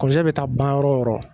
bɛ taa baara yɔrɔ o yɔrɔ